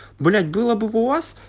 блять было бы у вас